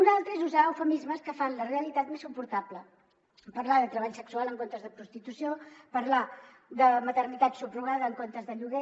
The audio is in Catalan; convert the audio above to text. una altra és usar eufemismes que fan la realitat més suportable parlar de treball sexual en comptes de prostitució parlar de maternitat subrogada en comptes de lloguer